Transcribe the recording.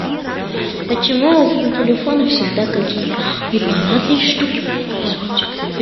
почему у телефона всегда какие то непонятные штуки происходят